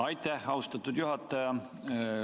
Aitäh, austatud juhataja!